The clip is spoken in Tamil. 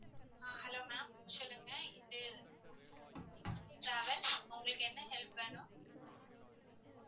ஆஹ் hello ma'am சொல்லுங்க இது டிராவல்ஸ் உங்களுக்கு என்ன help வேணும்